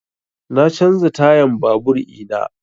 Na canza tayan babur ina